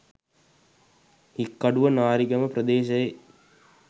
හික්කඩුව නාරිගම ප්‍රදේශයේ